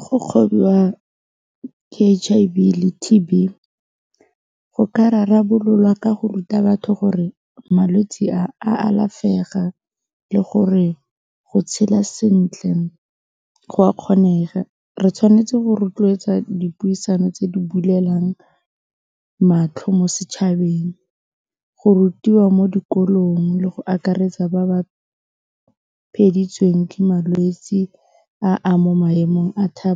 Go kgwobiwa H_I_V le T_B go ka rarabololwa ka go ruta batho gore malwetse a, a alafega le gore go tshela sentle go a kgonega re tshwanetse go rotloetsa dipuisano tse di bulelang matlho mo setšhabeng, go rutiwa mo dikolong le go akaretsa ba ba ke malwetsi a a mo maemong a fa